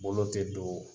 Bolo tɛ don